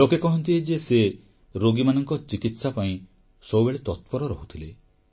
ଲୋକେ କହନ୍ତି ଯେ ସେ ରୋଗୀମାନଙ୍କ ଚିକିତ୍ସା ପାଇଁ ସବୁବେଳେ ତତ୍ପର ରହୁଥିଲେ